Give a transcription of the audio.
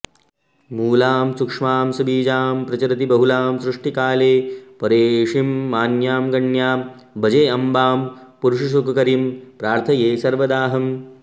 मूलां सूक्ष्मां सबीजां प्रचरति बहुलां सृष्टिकाले परेशीं मान्यां गण्यां भजेम्बां पुरुषसुखकरीं प्रार्थये सर्वदाहम्